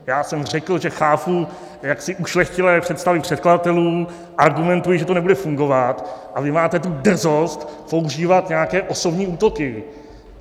Já jsem řekl, že chápu jaksi ušlechtilé představy předkladatelů a argumentuji, že to nebude fungovat, a vy máte tu drzost používat nějaké osobní útoky!